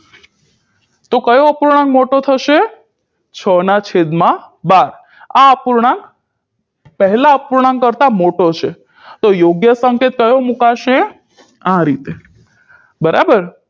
તો કયો અપૂર્ણાંક મોટો થશે છના છેદમાં બાર આ અપૂર્ણાંક પેહલા અપૂર્ણાંક કરતાં મોટો છે તો યોગ્ય સંકેત કયો મુકાશે આ રીતે બરાબર